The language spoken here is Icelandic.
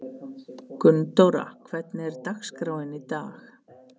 Gunndóra, hvernig er dagskráin í dag?